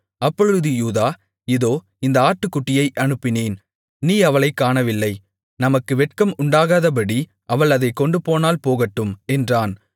அப்பொழுது யூதா இதோ இந்த ஆட்டுக்குட்டியை அனுப்பினேன் நீ அவளைக் காணவில்லை நமக்கு வெட்கம் உண்டாகாதபடி அவள் அதைக் கொண்டுபோனால் போகட்டும் என்றான்